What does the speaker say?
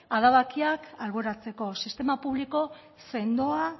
adabakiak alboratzeko sistema publiko sendoa